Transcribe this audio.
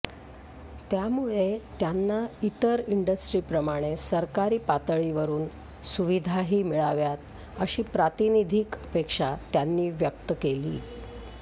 त्यामुळे त्यांना इतर इंडस्ट्रीप्रमाणे सरकारी पातळीवरून सुविधाही मिळाव्यात अशी प्रातिनिधिक अपेक्षा त्यांनी व्यक्त केली